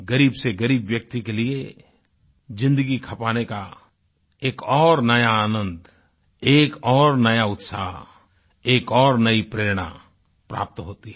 ग़रीब से ग़रीब व्यक्ति के लिए ज़िन्दगी खपाने का एक और नया आनंद एक और नया उत्साह एक और नई प्रेरणा प्राप्त होती है